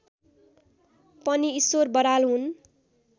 पनि ईश्वर बराल हुन्